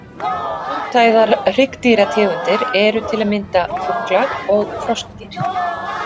Fjórtæðar hryggdýrategundir eru til að mynda fuglar og froskdýr.